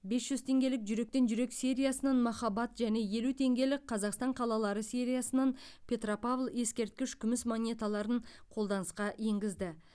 бес жүз теңгелік жүректен жүрекке сериясынан махаббат және елу теңгелік қазақстан қалалары сериясынан петропавл ескерткіш күміс монеталарын қолданысқа енгізді